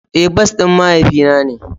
Eh, bas din mahaifi na ne.